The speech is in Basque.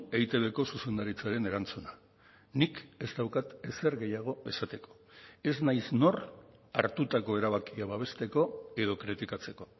eitbko zuzendaritzaren erantzuna nik ez daukat ezer gehiago esateko ez naiz nor hartutako erabakia babesteko edo kritikatzeko